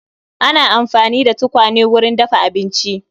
Ana amfani da tukwane wurin dafa abinci